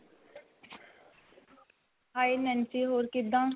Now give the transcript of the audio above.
hi Nancy ਹੋਰ ਕਿੱਦਾਂ.